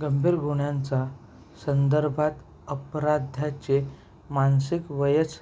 गंभीर गुन्ह्यांचा संदर्भात अपराध्याचे मानसिक वयच